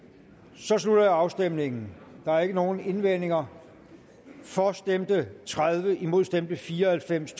så slutter jeg afstemningen der er ikke nogen indvendinger for stemte tredive imod stemte fire og halvfems